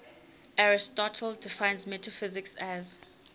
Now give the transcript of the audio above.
aristotle defines metaphysics as